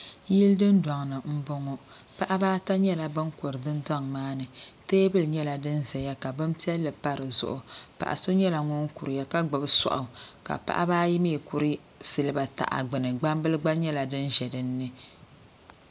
Yili dundoŋni m boŋɔ paɣaba ata nyɛla ban kuri dundoŋ maani teebuli nyɛla din zaya ka bob'piɛli pa dizuɣu paɣa so nyɛla ŋun kuriya ka gbibi soaɣu ka paɣaba ayi mee kuri siliba taha gbini gbambili gba nyɛla din ʒɛ dinni.